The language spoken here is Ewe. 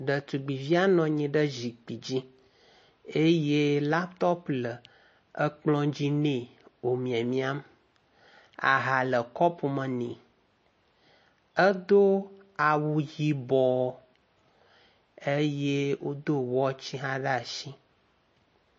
Ɖetugbivia nɔnyiɖe zikpidzi eye laptop le ekplɔ dzi nɛ wo miamiam aha le kɔpu me nɛ edó awu yibɔ eye wodó watch hã ɖe asi